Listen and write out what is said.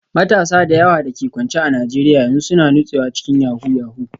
Matasa da yawa da ke kwance a Najeriya yanzu suna nutsewa cikin yahoo yahoo